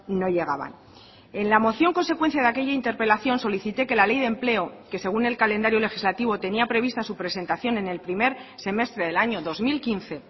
no llegaban en la moción consecuencia de aquella interpelación solicité que la ley de empleo que según el calendario legislativo tenía prevista su presentación en el primer semestre del año dos mil quince